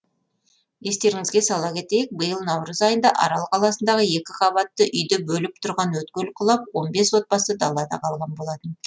естеріңізге сала кетейік биыл наурыз айында арал қаласындағы екі қабатты үйді бөліп тұрған өткел құлап он бес отбасы далада қалған болатын